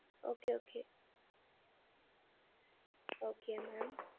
Okay okay okay ma'am